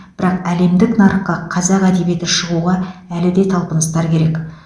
бірақ әлемдік нарыққа қазақ әдебиеті шығуға әлі де талпыныстар керек